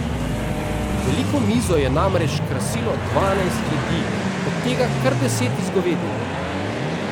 Veliko mizo je namreč krasilo dvanajst jedi, od tega kar deset iz govedine.